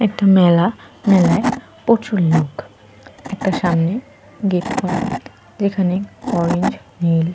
একটা মেলা। মেলায় প্রচুর লোক। একটা সামনে গেট করা। যেখানে অরেঞ্জ নীল --